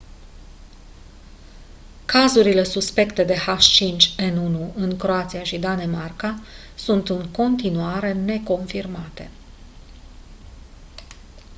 cazurile suspecte de h5n1 în croația și danemarca sunt în continuare neconfirmate